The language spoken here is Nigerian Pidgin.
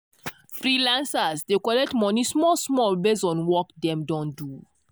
freelancers dey collect money small small based on work dem don do.